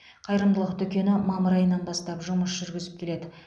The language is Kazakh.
қайырымдылық дүкені мамыр айынан бастап жұмыс жүргізіп келеді